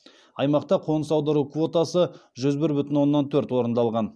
аймақта қоныс аудару квотасы жүз бір бүтін оннан төрт орындалған